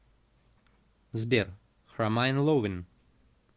сбер кромайн ловин